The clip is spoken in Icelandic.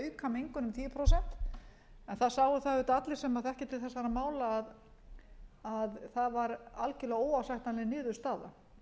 auka mengun um tíu prósent en það sáu það auðvitað allir sem þekkja til þessara mála að það var algjörlega óásættanleg niðurstaða